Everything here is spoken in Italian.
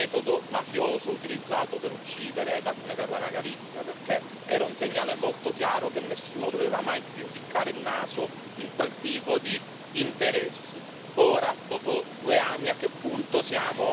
Io ricordo che nel mio intervento parlai del metodo mafioso utilizzato per uccidere Daphne Caruana Galizia, perché era un segnale molto chiaro che nessuno doveva mai più ficcare il naso in quel tipo di interessi.